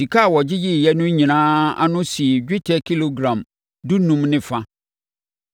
Sika a wɔgyegyeeɛ no nyinaa ano sii dwetɛ kilogram dunum ne fa.